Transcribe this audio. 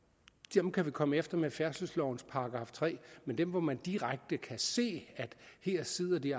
dem kan vi komme efter med færdselslovens § tre men der hvor man direkte kan se at her sidder de